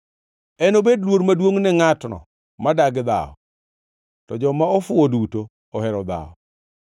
Enobed luor maduongʼ ne ngʼatno ma dagi dhawo, to joma ofuwo duto ohero dhawo.